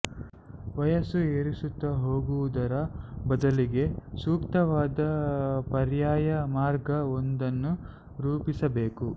ವಯಸ್ಸು ಏರಿಸುತ್ತಾ ಹೋಗುವುದರ ಬದಲಿಗೆ ಸೂಕ್ತವಾದ ಪರ್ಯಾಯ ಮಾರ್ಗ ಒಂದನ್ನು ರೂಪಿಸಬೇಕು